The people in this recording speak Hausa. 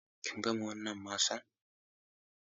Kin gama wannan masan?